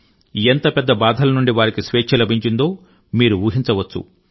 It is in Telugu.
ఎంత పెద్ద బాధల నుండి వారికి స్వేచ్ఛ లభించిందో మీరు ఊ హించవచ్చు